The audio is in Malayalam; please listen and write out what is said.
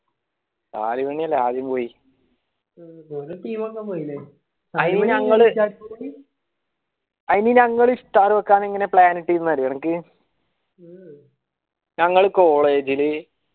ഇങ്ങ team ആകാൻ പോയില്ലേ ഏർ